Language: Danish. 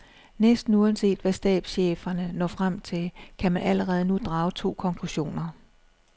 Næsten uanset hvad stabscheferne når frem til, kan man allerede nu drage to konklusioner.